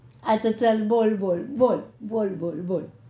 હા અચ્છા ચલ બોલ બોલ બોલ બોલ બોલ બોલ